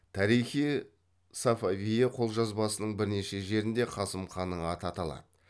тарих и сафавие қолжазбасының бірнеше жерінде қасым ханның аты аталады